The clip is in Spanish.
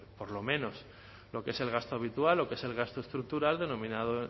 por lo menos lo que es el gasto habitual lo que es el gasto estructural denominado